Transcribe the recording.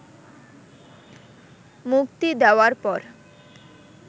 মুক্তি দেওয়ার পর